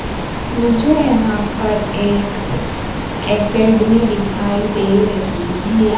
मुझे यहां पर एक एकेडमी दिखाई दे रही है।